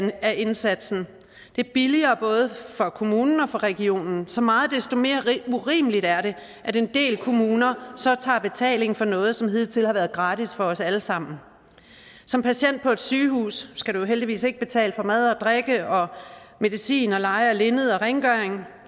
af indsatsen det er billigere både for kommunen og for regionen og så meget desto mere urimeligt er det at en del kommuner så tager betaling for noget som hidtil har været gratis for os alle sammen som patient på et sygehus skal man heldigvis ikke betale for mad og drikke medicin leje af linned og rengøring